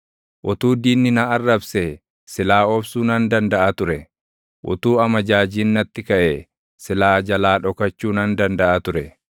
Utuu diinni na arrabsee, silaa obsuu nan dandaʼa ture; utuu amajaajiin natti kaʼee, silaa jalaa dhokachuu nan dandaʼa ture.